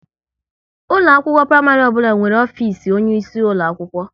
Ụlọ akwụkwọ praịmarị ọbụla nwere ofisi onye isi ulo akwụkwọ